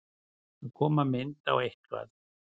Að koma mynd á eitthvað